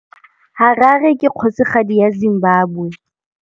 Harare ke kgosigadi ya Zimbabwe.